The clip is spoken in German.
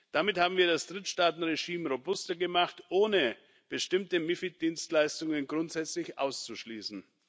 Damit haben wir das Drittstaatenregime robuster gemacht, ohne bestimmte MiFID Dienstleistungen grundsätzlich auszuschließen.